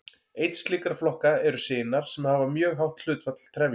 Einn slíkra flokka eru sinar sem hafa mjög hátt hlutfall trefja.